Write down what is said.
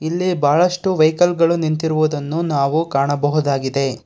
ಇಲ್ಲಿ ಬಹಳಷ್ಟು ವೆಹಿಕಲ್ ಗಳು ನಿಂತಿರುವುದನ್ನು ನಾವು ಕಾಣಬಹುದಾಗಿದೆ.